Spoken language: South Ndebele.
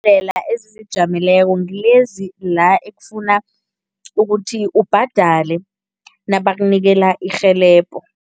Ezizijameleko ngilezi la ekufana ukuthi ubhadale nabakunikela irhelebho.